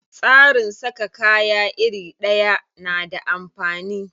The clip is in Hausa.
Tsarin saka kaya iri ɗaya na da amfani.